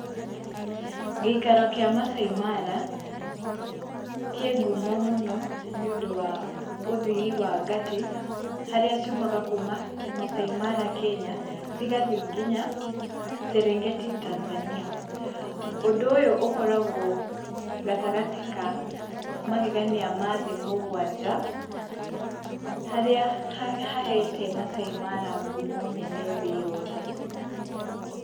Gĩikaro kĩa Maasai Mara, kĩ ngumo mũno, nĩũndũ wa ũthiĩ wa Ngatĩ, harĩa ciiumaga kuma Maasai Mara Kenya, cigathiĩ nginya Serengeti, Tanzania. Undũ ũyũ ũkoragwo gatagatĩ ka magegania ma thĩ mũgwanja, harĩa hahete Maasai Mara ngumo nene thĩ yothe.